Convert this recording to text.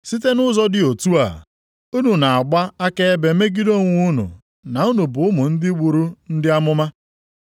Site nʼụzọ dị otu a, unu na-agba akaebe megide onwe unu na unu bụ ụmụ ndị gburu ndị amụma.